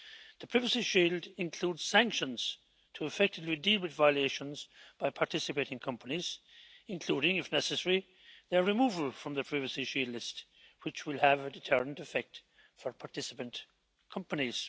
The Privacy Shield includes sanctions to effectively deal with violations by participating companies including, if necessary, their removal from the Privacy Shield list, which will have a deterrent effect for participant companies.